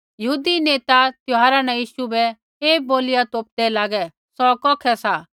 यहूदी नेता त्यौहारा न यीशु बै ऐ बोलिया तोपदै लागे सौ कौखै सा